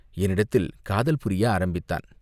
என்னிடத்தில் காதல் புரிய ஆரம்பித்தான்.